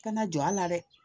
Kana jɔ a la dɛ